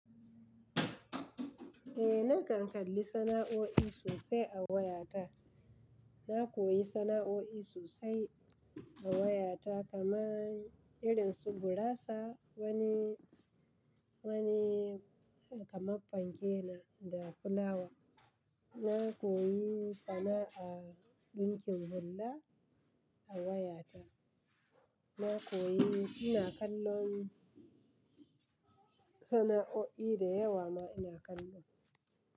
Eh, nakan kalli sana'oi sosai a wayata. Na koyi sana'oi sosai a wayata kamar irin su gurasa wani, wani kamar fanke da fulawa. Na koyi sana'ar ɗinkin hula a wayata. Na koyi ina kallon sana'o'i dayawa ma ina kallo.